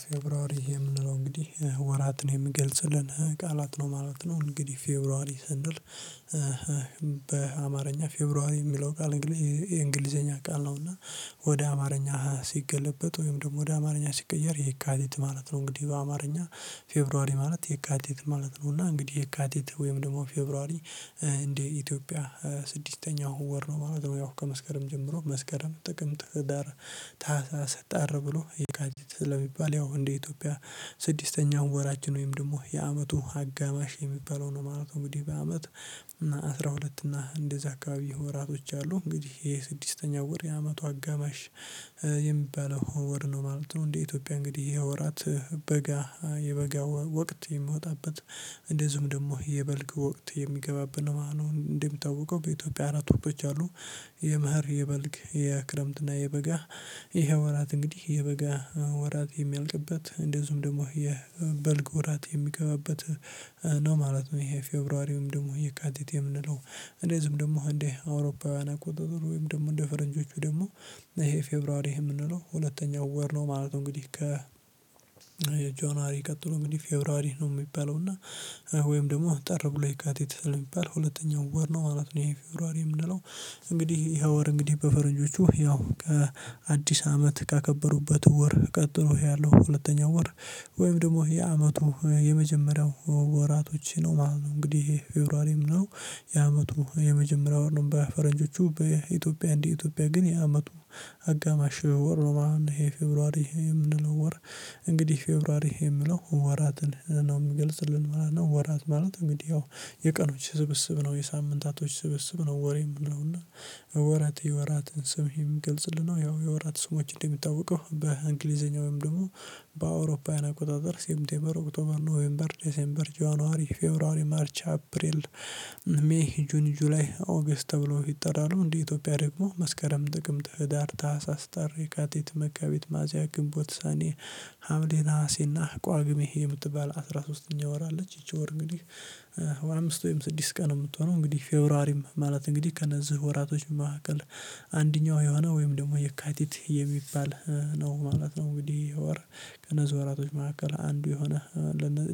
ፌብሩዋሪ የምንለው እንግዲህ ወራትን የሚገልጽልን ቃላት ነው ማለት ነው። እንግዲህ ፌብሩዋሪ ስንል በአማርኛ ፌብሩዋሪ የሚለው ቃል እንግዲህ የእንግሊዘኛ ቃል ነው እና ወደ አማርኛ ሲገለበጥ ወይም ደግሞ ወደ አማርኛ ሲቀየር የካቲት ማለት ነው። እንግዲህ በአማርኛ ፌብሩዋሪ ማለት የካቲት ማለት ነው፤ እና እንግዲህ የካቲት ወይም ደግሞ ፌብሩዋሪ እንደ ኢትዮጵያ ስድስተኛው ወር ነው ማለት ነው ያው ከመስከረም ጀምሮ መስከረም፣ ጥቅም፣ ህዳር፣ ታህሳስ፣ ጥር ብሎ የካቲት ስለሚባል ያው እንደ ኢትዮጵያ ስድስተኛው ወራችን ወይም ደግሞ የአመቱ አጋማሽ የሚባለው ነው ማለት እንግዲህ በአመት እና አስራ ሁለት እና እንደዛ አካባቢ ወራቶች አሉ። እንግዲህ የስድስተኛው ወር የአመቱ አጋማሽ የሚባለው ወር ነው ማለት ነው እንደ ኢትዮጵያ እንግዲህ ይሄ ወራት በጋ የበጋ ወቅት የሚወጣበት እንደዚሁም ደግሞ የበልግ ወቅት የሚገባበት ነው ማለት ነው። እንደሚታወቀው በኢትዮጵያ አራት ወቅቶች አሉ። የመህር፣ የበልግ፣ የክረምትና የበጋ። ይሄ ወራት እንግዲህ የበጋ ወራት የሚያልቅበት እንደዚሁም ደግሞ የበልግ ወራት የሚገባበት ነው ማለት ነው ይሄ ፌብራሪውም ደግሞ የካቲቴም የምንለው። እንደዚሁም ደግሞ እንደ አውሮፓውያን አቆጣጥሮ ወይም ደግሞ እንደ ፈረንጆቹ ደግሞ ይሄ ፌብሩዋሪ የምንለው ሁለተኛው ወር ነው ማለት ነው እንግዲህ ከ ጃኗሪ ቀጥሎ ምንድነው ፌብሩዋሪ ነው የሚባለው እና ወይም ደግሞ ጥር ብሎ የካቲት ስለሚባል ሁለተኛው ወር ነው ማለት ነው ይሄ ፌብሩዋሪ የምንለው። እንግዲህ ይሄ ወር እንግዲህ በፈረንጆቹ ያው ከአዲስ አመት ካከበሩበት ወር ቀጥሎ ያለው ሁለተኛው ወር ወይም ደግሞ የአመቱ የመጀመሪያው ወራቶች ነው ማለት ነው። እንግዲህ ፌብሩዋሪ የምንለው የአመቱ የመጀመሪያው ወር ነው በፈረንጆቹ። በኢትዮጵያ እንዲህ ኢትዮጵያ ግን የአመቱ አጋማሽ ወር ነው ማለት ነው ይሄ ፌብሩዋሪ ይሄ የምንለው ወር እንግዲህ ፌብሩዋሪ የሚለው ወራትን ነው የሚገልጽልን ማለት ነው ወራት ማለት እንግዲህ የቀኖች ስብስብ ነው የሳምንታቶች ስብስብ ነው ወር የምንለው እና ወራት የወራትን ስም የሚገልጽልን ነው ያው የወራት ስሞች እንደሚታወቀው በእንግሊዘኛ ወይም ደግሞ በአውሮፓውያን አቆጣጠር ሴፕቴምበር ኦክቶመር፣ ኖቬምበር፣ ዲሴምበር፣ ጃንዋሪ፣ ፌብሩዋሪ፣ ማርች፣ አፕሪል፣ ሜይ፣ ጁኒ፣ ጁላይ፣ ኦገስት ተብሎ ይጠራሉ። እንዲሁ ኢትዮጵያ ደግሞ መስከረም፣ ጥቅምት፣ ህዳር፣ ታህሳስ፣ ጥር፣ የካቲት፣ መጋቢት፣ ሚያዚያ፣ ግንቦት፣ ሰኔ፣ ሀምሌ፣ ነሀሴ እና ቋግሜ የምትባል አስራ ሶስተኛ ወር አለች። ይቺ ወር እንግዲህ አምስት ወይም ስድስት ቀን የምትሆነው እንግዲህ ፌብሩዋሪም ማለት እንግዲህ ከነዚህ ወራቶች መሃከል አንደኛው የሆነ ወይም ደግሞ የካቲት የሚባል ነው ማለት ነው እንግዲህ ይህ ወር ከነዚህ ወራቶች መካከል አንዱ የሆነ